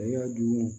A y'a dun